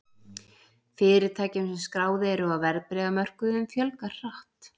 Fyrirtækjum sem skráð eru á verðbréfamörkuðum fjölgar hratt.